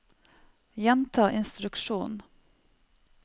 gjenta instruksjon